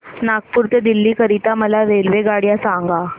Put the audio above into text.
नागपुर ते दिल्ली करीता मला रेल्वेगाड्या सांगा